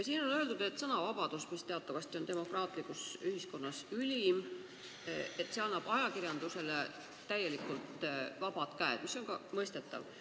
Siin on öeldud, et sõnavabadus, mis teatavasti on demokraatlikus ühiskonnas ülim, annab ajakirjandusele täielikult vabad käed, mis on ka mõistetav.